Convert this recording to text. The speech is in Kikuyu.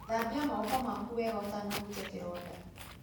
Thambia moko maku wega ũtanahutia kĩronda.